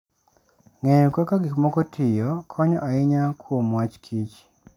Ng'eyo kaka gik moko tiyo konyo ahinya kuom wach kich.